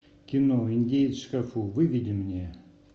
кино индеец в шкафу выведи мне